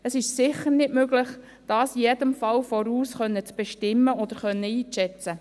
– Es ist sicher nicht möglich, dies in jedem Fall im Voraus zu bestimmen oder einzuschätzen.